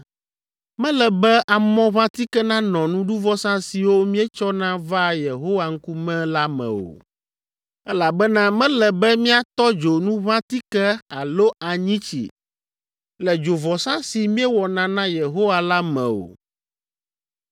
“ ‘Mele be amɔʋãtike nanɔ nuɖuvɔsa siwo mietsɔna vaa Yehowa ŋkume la me o, elabena mele be miatɔ dzo nuʋãtike alo anyitsi le dzovɔsa si miewɔna na Yehowa la me o.